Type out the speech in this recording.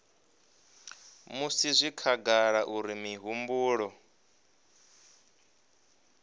musi zwi khagala uri mihumbulo